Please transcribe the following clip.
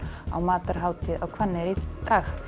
á matarhátíð á Hvanneyri í dag